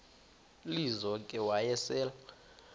lizo ke wayesel